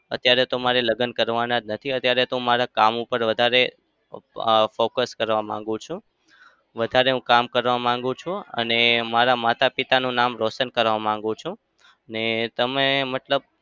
અત્યારે તો મારે લગ્ન કરવાના જ નથી. અત્યારે તી હું મારા કામ પર વધારે અમ focus કરવા માંગુ છું. વધારે હું કામ કરવા માંગુ છું. અને મારા માતા-પિતાનું નામ રોશન કરવા માગું છું. ને તમે મતલબ